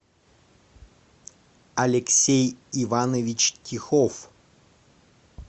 алексей иванович тихов